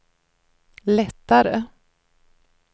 lättare